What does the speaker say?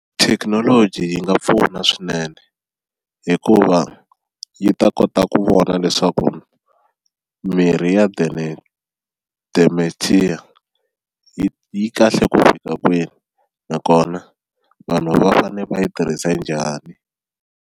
Thekinoloji yi nga pfuna swinene hikuva yi ta kota ku vona leswaku mirhi ya dementia yi yi kahle ku fika kwini nakona vanhu va fane va yi tirhisa njhani.